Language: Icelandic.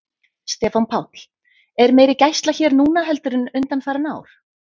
Stefán Páll: Er meiri gæsla hér núna heldur en undanfarin ár?